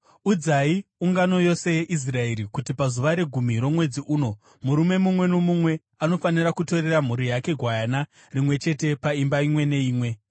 Udzai ungano yose yeIsraeri kuti pazuva regumi romwedzi uno, murume mumwe nomumwe anofanira kutorera mhuri yake gwayana, rimwe chete paimba imwe neimwe.